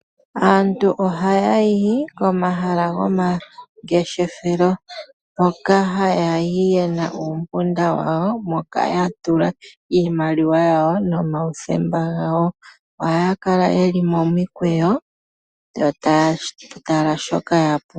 Aantu ohaya yi komahala gomangeshefelo. Hoka haya yi ye na uumpunda wawo moka ya tula iimaliwa yawo nomauthemba gawo. Ohaya kala ye li momikweyo yo taa tala shoka ya pumbwa.